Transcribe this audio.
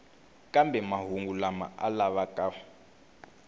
kambe mahungu lama a lavaka